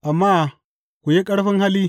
Amma ku yi ƙarfin hali!